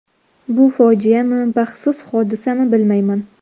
Bu fojiami, baxtsiz hodisami bilmayman.